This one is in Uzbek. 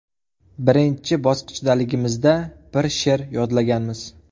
Birinchi bosqichdaligimizda bir she’r yodlaganmiz.